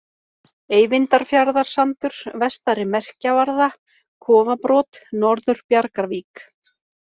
Eyvindarfjarðarsandur, Vestari merkjavarða, Kofabrot, Norður-Bjargavík